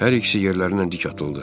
Hər ikisi yerlərindən dik atıldı.